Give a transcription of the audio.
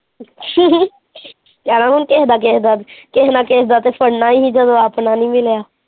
ਕਹਿਣਾ ਹੁਣ ਕਿਸੇ ਦਾ ਕਿਸੇ ਦਾ ਕਿਸੇ ਨਾ ਕਿਸੇ ਦਾ ਫੜਨਾ ਸੀ ਜਦੋਂ ਆਪਣਾ ਨੀ ਮਿਲਿਆ।